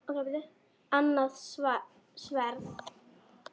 Annað sverð.